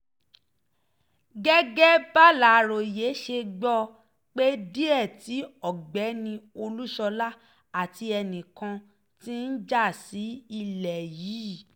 gẹ́gẹ́ bàlàròyé ṣe gbọ́ ọ pé díẹ̀ tí ọ̀gbẹ́ni olúṣọlá àti ẹnìkan ti ń já sí ilé yìí